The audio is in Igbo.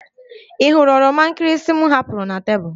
Ị hụrụ oroma nkịrịsị m hapụrụ na tebụl?